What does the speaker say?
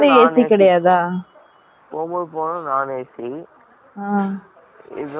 போகும் போது non AC இது வந்து AC